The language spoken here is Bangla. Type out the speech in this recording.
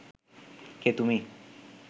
কে তুমি?